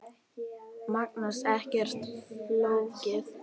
Magnús: Ekkert flókið?